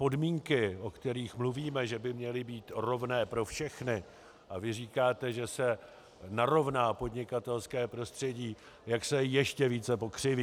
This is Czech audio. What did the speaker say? Podmínky, o kterých mluvíme, že by měly být rovné pro všechny, a vy říkáte, že se narovná podnikatelské prostředí, jak se ještě více pokřiví.